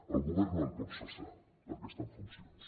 el govern no el pot cessar perquè està en funcions